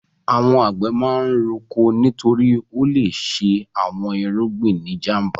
Àwọn àgbẹ̀ máa ń roko nítorí ó le ṣe àwọn irúgbìn ní ìjàm̀ba.